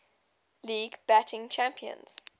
league batting champions